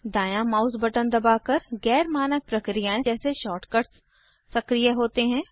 दांया mouse button दबाकर गैर मानक प्रक्रियाएं जैसे शॉर्टकट्स सक्रीय होते हैं